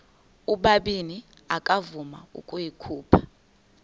ubabini akavuma ukuyikhupha